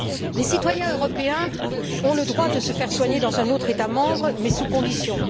Les citoyens européens ont le droit de se faire soigner dans un autre État membre, mais sous conditions.